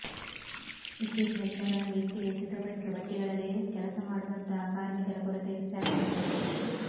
ಇತ್ತೀಚಿನ ದಿನಗಳಲ್ಲಿ ಇಟ್ಟಿಗೆ ಸಿದ್ದಪಡಿಸುವ ಬಟ್ಟಿಗಳಲ್ಲಿ ಕೆಲಸ ಮಾಡುವಂಥಹ ಕಾರ್ಮಿಕರ ಕೊರತೆ ಹೆಚ್ಚಾಗ ತೊಡಗಿದೆ